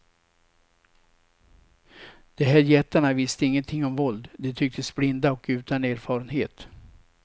De här jättarna visste ingenting om våld, de tycktes blinda och utan erfarenhet.